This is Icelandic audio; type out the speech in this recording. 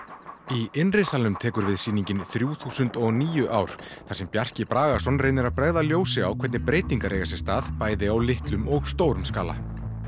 í innri salinn er tekur við sýningin þrjúþúsund og níu ár þar sem Bjarki Bragason reynir að bregða ljósi á hvernig breytingar eiga sér stað bæði á litlum og stórum skala